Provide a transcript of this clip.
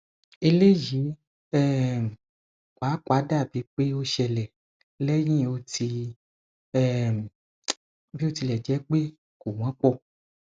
eleyi um papa dabi pe o sele lehin oti um bi o tile je pe ko wo po